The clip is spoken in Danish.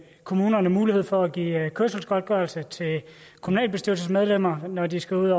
kommunerne mulighed for at give kørselsgodtgørelse til kommunalbestyrelsesmedlemmer når de skal ud